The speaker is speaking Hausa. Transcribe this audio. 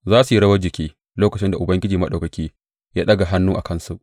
Za su yi rawar jiki lokacin da Ubangiji Maɗaukaki ya ɗaga hannu a kansu.